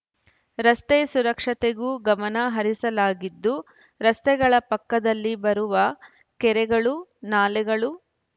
ರಸ್ತೆ ಸುರಕ್ಷತೆಗೂ ಗಮನ ಹರಿಸಲಾಗಿದ್ದು ರಸ್ತೆಗಳ ಪಕ್ಕದಲ್ಲಿ ಬರುವ ಕೆರೆಗಳು ನಾಲೆಗಳು